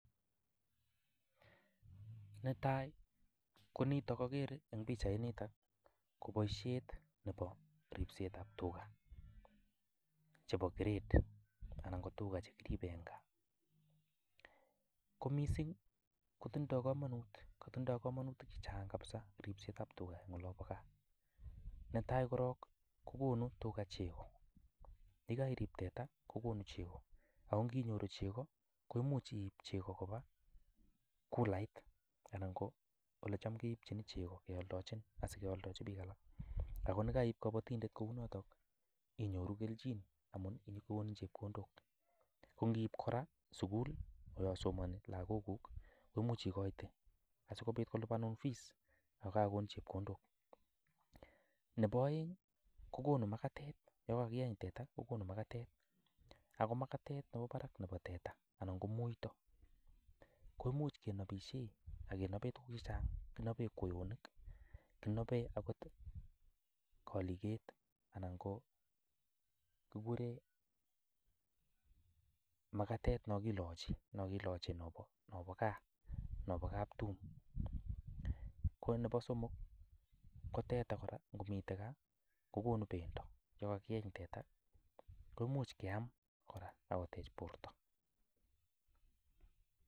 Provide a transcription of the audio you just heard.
Netai ko nitok akere eng pichainitak ko boisiet nebo ripsetab tuga chebo grade anan ko tuga che kiribe eng gaa, ko mising kotindoi kamanut, kotindoi kamanutik che chang kabisa ripsetab tuga eng olobo gaa, netai korok kokonu tuga chego, yekairip teta kokonu chego ako nginyoru chego, koimuch iip chego koba kulait anan ko olecham keipchini chego kealdochin asikealdochi piik alak, ako ne kaiip kabatindet kou notok inyoru kelchin amun kikonin chepkondok, ko ngiip kora sukul olosomoni lagokuk koimuch ikoite asikobit kolipanun fees ak kakokonin chepkondok, nebo aeng ii, kokonu makatet yo kakeeny teta kokonu makatet ako makatet nebo barak nebo teta anan ko muito ko imuch kenabishe akenope tukuk che chang, kinobe kweonik, kinobe akot kaliket anan ko kikure makatet nokilochi, nokilochi nobo gaa nobo kaptum, ko nebo somok ko teta kora ngomite gaa kokonu bendo yo kakieny teta komuch keam kora ak kotech borta.